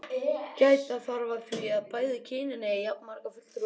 Gæta þarf að því að bæði kynin eigi jafnmarga fulltrúa í hópnum.